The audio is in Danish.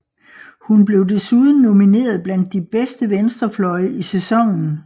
Hun blev desuden nomineret blandt de bedste venstrefløje i sæsonen